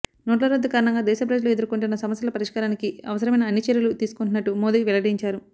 నోట్ల రద్దు కారణంగా దేశ ప్రజలు ఎదుర్కొంటున్న సమస్యల పరిష్కారానికి అవసరమైన అన్ని చర్యలు తీసుకుంటున్నట్టు మోదీ వెల్లడించారు